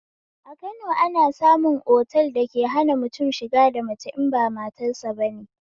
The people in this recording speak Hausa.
A Kano ana samun otal dake hana mutum shiga da mace in ba matarsa bane